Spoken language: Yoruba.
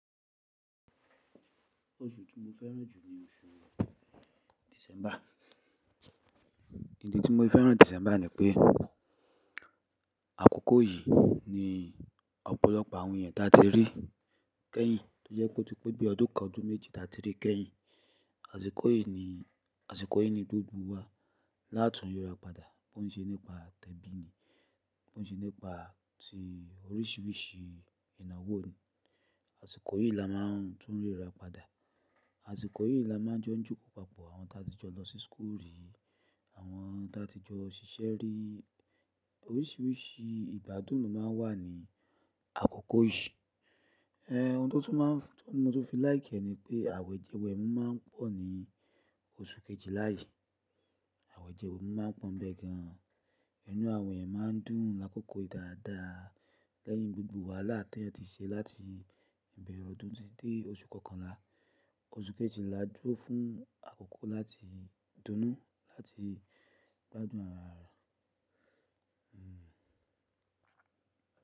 Oṣù tí mo fẹ́ràn jù ni oṣù December. Ìdí tí mo fi fẹ́ràn December ni pé àkókò yìí ni ọ̀pọ̀lọpọ̀ àwọn ènìyàn tí a ti rí kẹ́yìn tó jẹ́ pé ó ti pé bí ọdún kan ọdún méjì tí a ti rí kẹ́yìn. Àsìkò yìí ni, àsìkò yìí ni gbogbo wa látun ríra padà bó ṣe nípa tẹ́bí ni, bó ṣe nípa tí oríṣiríṣi ìnáwó ni, àsìkò yìí la máa tún ríra padà. Àsìkò yìí la máa jọ ń jókòó papọ̀ àwọn tí a ti jọ lọ sí school rí, àwọn tí a ti jọ ṣiṣẹ́ rí. Oríṣiríṣi ìgbádùn lo máa ń wà ní àkókò yìí. Eh, ohun tó tún máa ń, tó mo ti fi láìkẹ́ ni pé àwẹ̀jẹwẹ̀mu máa ń pọ̀ ní oṣù kejìlá yìí. Àwẹ̀jẹwẹ̀mu máa ń pọ́ bẹ́ẹ̀ gan. Inú àwọn ènìyàn máa ń dùn lákòókò yìí dáadáa lẹ́yìn gbogbo wàhálà tí wọ́n ti ṣe láti ìbẹ̀rẹ̀ ọdún títí dé oṣù kọkànlá. Oṣù kejìlá jó fún àkókò láti dunnú láti gbádùn ara wa. Hmm.